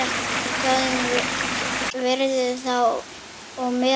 Þjóðin virðir þá og metur.